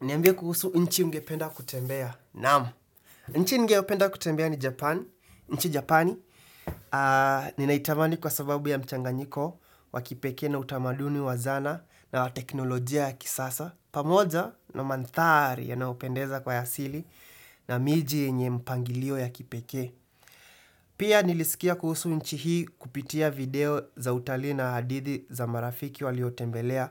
Niambie kuhusu nchi ungependa kutembea. Naam. Nchi ningependa kutembea ni Japan. Nchi Japani. Ninaitamani kwa sababu ya mchanganyiko. Wa kipeke na utamaduni wa zana na teknolojia ya kisasa. Pamoja na manthari yanayopendeza kwa ya asili. Na miji enye mpangilio ya kipeke. Pia nilisikia kuhusu nchi hii kupitia video za utali na hadithi za marafiki waliotembelea.